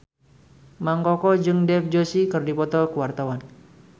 Mang Koko jeung Dev Joshi keur dipoto ku wartawan